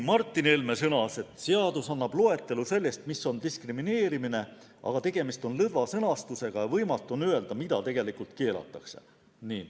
Martin Helme sõnas, et seaduseelnõu annab loetelu selle kohta, mis on diskrimineerimine, aga tegemist on lõdva sõnastusega ja võimatu on öelda, mida tegelikult keelatakse.